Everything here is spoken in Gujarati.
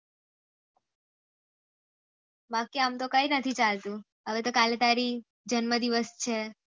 બાકી આમતો કઈ નથી ચાલતું હવે તો કાલે તારી જન્મ દિવસ છે